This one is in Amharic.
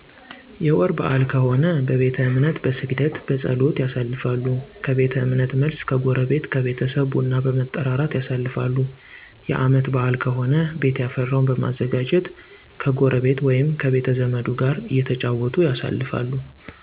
የወር በአል ከሆነ በቤተ እምነት በስግደት፣ በፀሎት፣ ያሳልፋሉ። ከቤተ እምነት መልስ ከጎረቤት ከቤተሰብ ቡና በመጠራራት ያሳልፋሉ። የአመት በአል ከሆነ ቤት የፈራውን በማዘጋጀት ከጎረቤ ወይም ከቤተዘመዱ ጋር እተጫወቱ ያሳልፋሉ።